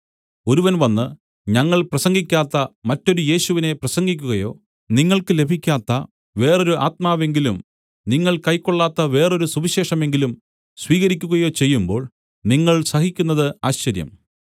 ഒരുവൻ വന്ന് ഞങ്ങൾ പ്രസംഗിക്കാത്ത മറ്റൊരു യേശുവിനെ പ്രസംഗിക്കുകയോ നിങ്ങൾക്ക് ലഭിക്കാത്ത വേറൊരു ആത്മാവെങ്കിലും നിങ്ങൾ കൈക്കൊള്ളാത്ത വേറൊരു സുവിശേഷമെങ്കിലും സ്വീകരിക്കുകയോ ചെയ്യുമ്പോൾ നിങ്ങൾ സഹിക്കുന്നത് ആശ്ചര്യം